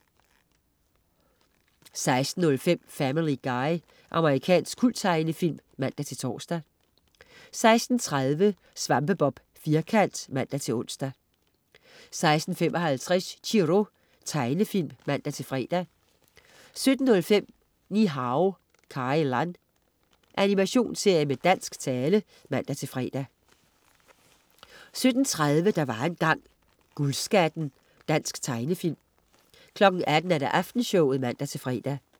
16.05 Family Guy. Amerikansk kulttegnefilm (man-tors) 16.30 SvampeBob Firkant (man-ons) 16.55 Chiro. Tegnefilm (man-fre) 17.05 Ni-Hao Kai Lan. Animationsserie med dansk tale (man-fre) 17.30 Der var engang. Guldskatten. Dansk tegnefilm 18.00 Aftenshowet (man-fre)